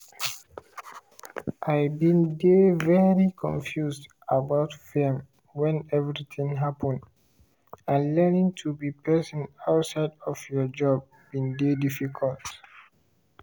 "i bin dey very confused about fame when everything happen; and learning to be person outside of your job bin dey difficult.